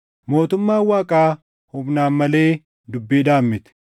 Mootummaan Waaqaa humnaan malee dubbiidhaan miti.